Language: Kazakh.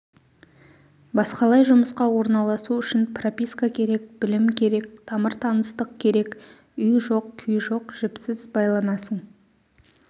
басқалай жұмысқа орналасу үшін прописка керек білім керек тамыр-таныстық керек үй жоқ күй жоқ жіпсіз байланасың